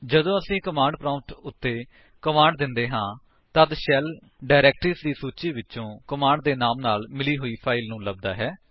ਜਦੋਂ ਅਸੀ command prompt ਉੱਤੇ ਕਮਾਂਡ ਦਿੰਦੇ ਹਾਂ ਤੱਦ ਸ਼ੈਲ ਡਾਇਰੇਕਟਰੀਜ ਦੀ ਸੂਚੀ ਵਿੱਚੋਂ ਕਮਾਂਡ ਦੇ ਨਾਮ ਨਾਲ ਮਿਲਦੀ ਹੋਈ ਫਾਇਲ ਨੂੰ ਲੱਭਦਾ ਹੈ